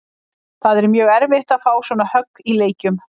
Það er mjög erfitt að fá svona högg í leikjum.